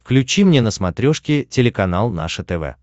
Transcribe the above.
включи мне на смотрешке телеканал наше тв